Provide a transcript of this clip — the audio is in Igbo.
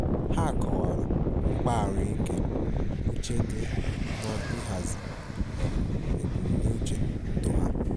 Ha kọwara mkpa ahụike uche di n'ihazi um ebumnuche ndụ ha.